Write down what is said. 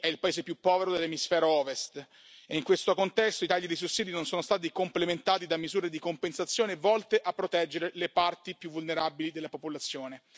Haiti è il paese più povero dell'emisfero Ovest e in questo contesto i tagli dei sussidi non sono stati complementati da misure di compensazione, volte a proteggere le parti più vulnerabili della popolazione.